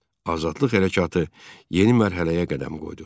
Azadlıq hərəkatı yeni mərhələyə qədəm qoydu.